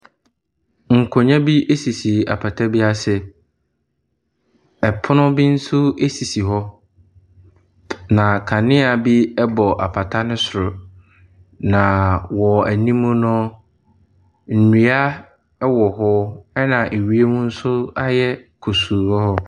Nkonnwa bi sisi apata bi ase, pono bi nso sisi hɔ, na kanea bi bobɔ apata no soro. Na wɔn anim no, nnua wɔ hɔ na wiem nso ayɛ kusuu wɔ hɔ.